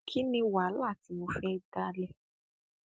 kí ni wàhálà tí mo fẹ dálé